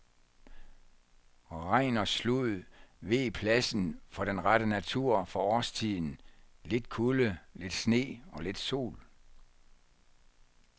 Regn og slud veg pladsen for den rette natur for årstiden, lidt kulde, lidt sne og lidt sol.